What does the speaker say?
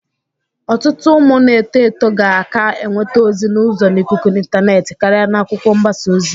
Ọtụtụ ụmụ na-eto eto ga-aka enwete ozi n'uzo n'ikuku intaneetị karị n'akwụkwọ mgbasa ozi.